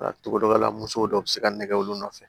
Cogo dɔ la musow dɔw bɛ se ka nɛgɛ olu nɔfɛ